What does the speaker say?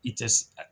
I tɛ a